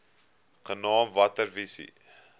genaamd water wise